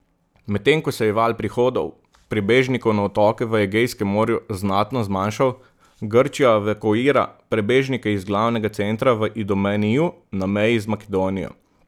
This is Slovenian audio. Medtem ko se je val prihodov prebežnikov na otoke v Egejskem morju znatno zmanjšal, Grčija evakuira prebežnike iz glavnega centra v Idomeniju na meji z Makedonijo.